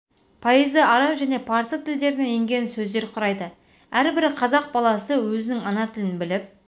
пайызы араб және парсы тілдерінен енген сөздер құрайды әрбір қырғыз баласы өзінің ана тілін біліп